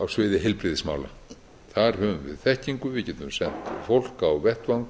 á sviði heilbrigðismála þar höfum við þekkingu við getum sent fólk á vettvang